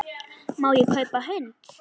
Má ég kaupa hund?